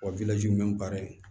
Wa baara in